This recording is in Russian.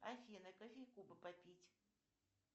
афина кофейку бы попить